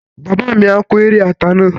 Bàbá mi á kórè ata náà